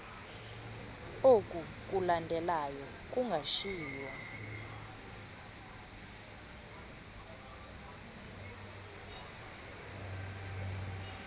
oku kulandelayo kungashiywa